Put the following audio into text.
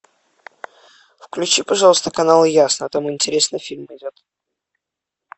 включи пожалуйста канал ясно там интересный фильм идет